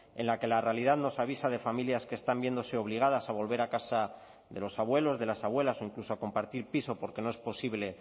en la que la realidad nos avisa de familias que están viéndose obligadas a volver a casa de los abuelos de las abuelas o incluso a compartir piso porque no es posible